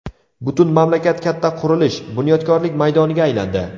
Butun mamlakat katta qurilish, bunyodkorlik maydoniga aylandi.